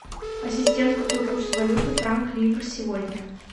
ассистент какой курс валюты франк ливр сегодня